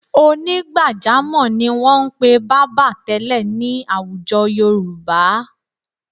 Onígbàjámọ̀ ni wọn ń pe bábà tẹ́lẹ̀ ní àwùjọ Yorùbá.